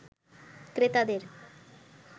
ক্রেতাদের